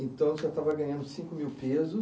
Então, o senhor estava ganhando cinco mil pesos.